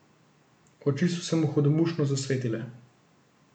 Oči so se mu hudomušno zasvetile.